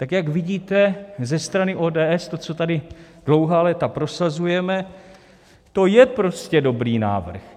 Tak jak vidíte ze strany ODS to, co tady dlouhá léta prosazujeme, to je prostě dobrý návrh.